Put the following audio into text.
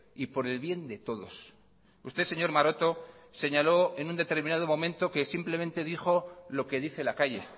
y por el bien de todos usted señor maroto señaló en un determinado momento que simplemente dijo lo que dice la calle